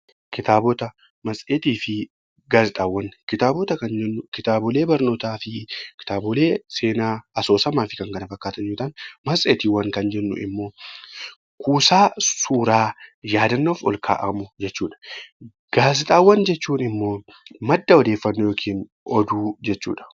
Kitaabota kan jennuun kitaabota barnootaa fi kitaabota seenaa asoosamaa fi kan kana fakkaatan yommuu ta'an, matseetii kan jennuun immoo kuusaa suuraa yaadannoof ol kaa'amu jechuudha. Gaazexaawwan jechuun immoo madda odeeffannoo yookiin immoo oduu jechuudha